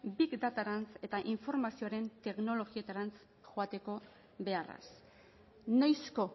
big datarantz eta informazioaren teknologietarantz joateko beharraz noizko